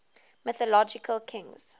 mythological kings